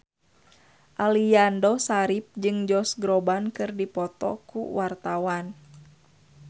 Aliando Syarif jeung Josh Groban keur dipoto ku wartawan